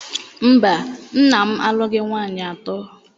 Mba, nna m alụghị nwaanyị atọ.